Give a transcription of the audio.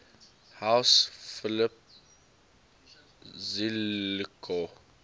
house philip zelikow